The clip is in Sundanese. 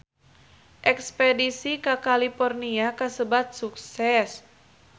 Espedisi ka California kasebat sukses